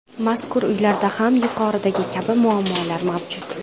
Mazkur uylarda ham yuqoridagi kabi muammolar mavjud.